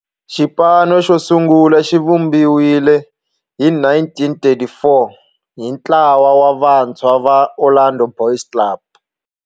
Xipano xosungula xivumbiwile hi 1934 hi ntlawa wa vantshwa va Orlando Boys Club.